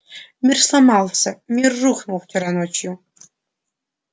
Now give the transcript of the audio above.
мир сломался мир рухнул вчера ночью